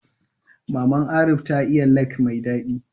Maman Arif ta iya lek mai daɗi